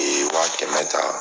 Ee waa kɛmɛ taa